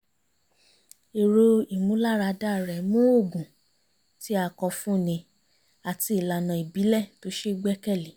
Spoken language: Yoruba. èrò ìmúláradá rẹ̀ mú òògùn tí a kọ fún ni àti ìlànà ìbílẹ̀ tó ṣe gbẹ́kẹ̀lé